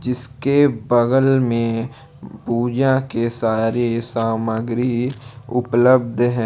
इसके बगल में पूजा के सारे सामग्री उपलब्ध है।